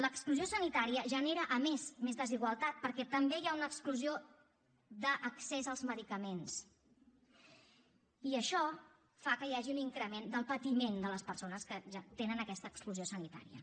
l’exclusió sanitària genera a més més desigualtat perquè també hi ha una exclusió d’accés als medicaments i això fa que hi hagi un increment del patiment de les persones que ja tenen aquesta exclusió sanitària